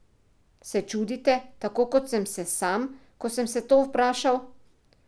Se čudite, tako kot sem se sam, ko sem se to vprašal?